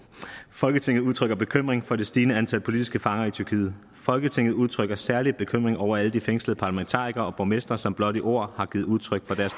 folketinget udtrykker bekymring for det stigende antal politiske fanger i tyrkiet folketinget udtrykker særlig bekymring over alle de fængslede parlamentarikere og borgmestre som blot i ord har givet udtryk for deres